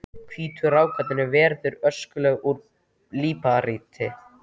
Hvítu rákirnar eru veðruð öskulög úr líparíti.